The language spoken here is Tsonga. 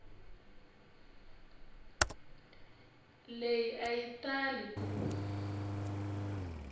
leyi a yi tala ku